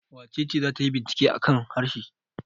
Wace ce za ta yi bincike a kan harshe?